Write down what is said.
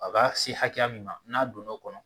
A b'a se hakɛya min na n'a donna o kɔnɔ